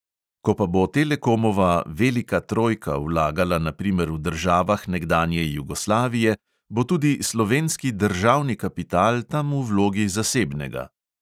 Ko pa bo telekomova velika trojka vlagala na primer v državah nekdanje jugoslavije, bo tudi slovenski državni kapital tam v vlogi zasebnega.